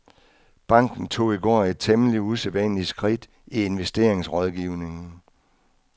Banken tog i går et temmelig usædvanligt skridt i investeringsrådgivningen.